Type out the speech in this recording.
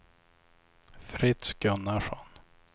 Fritz Gunnarsson